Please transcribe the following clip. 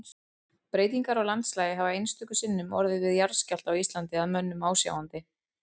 Breytingar á landslagi hafa einstöku sinnum orðið við jarðskjálfta á Íslandi að mönnum ásjáandi.